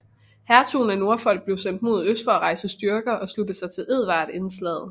Hertugen af Norfolk blev sendt mod øst for at rejse styrker og slutte sig til Edvard inden slaget